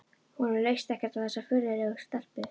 Honum leist ekkert á þessa fleðulegu stelpu.